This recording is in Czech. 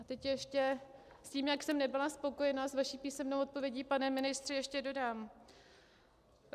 A teď ještě k tomu, jak jsem nebyla spokojena s vaší písemnou odpovědí, pane ministře, ještě dodám.